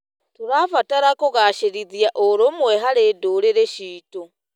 Tũrabatara kũgacĩrithia ũrũmwe harĩ ndũrĩrĩ ciitũ.